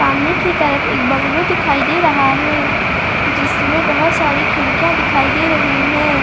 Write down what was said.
सामने की तरफ एक बंगलो दिखाई दे रहा है जिसमें बहुत सारी खिड़कियां दिखाई दे रही हैं।